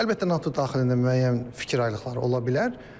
Əlbəttə, NATO daxilində müəyyən fikir ayrılıqları ola bilər.